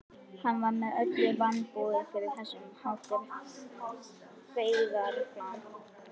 Hann var með öllu vanbúinn fyrir þess háttar feigðarflan.